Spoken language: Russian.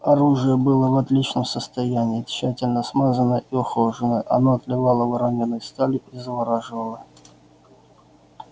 оружие было в отличном состоянии тщательно смазанное и ухоженное оно отливало воронёной сталью и завораживало